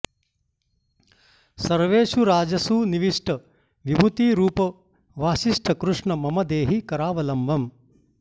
सर्वेषु राजसु निविष्ट विभूति रूप वासिष्ठकृष्ण ममदेहि करावलम्बम्